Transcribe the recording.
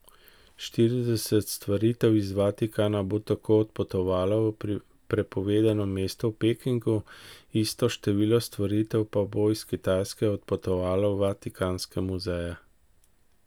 Štirideset stvaritev iz Vatikana bo tako odpotovalo v Prepovedano mesto v Pekingu, isto število stvaritev pa bo iz Kitajske odpotovalo v Vatikanske muzeje.